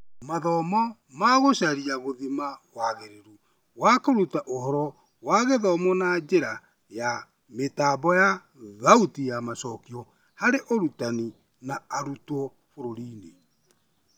Mathomo ma gũcaria ta gũthima wagĩrĩru wa kũruta ũhoro wa gĩthomo na njĩra ya mĩtambo ya thauti ya macokio harĩ arutani na arutwo bũrũri-inĩ